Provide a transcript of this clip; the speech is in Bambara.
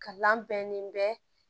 Kalan bɛnnen bɛ